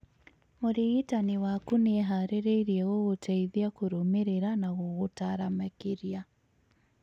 mũrigitani wakũ nĩeharĩirie gũgũteithia kũrũmĩrĩra na gũgũtara makĩria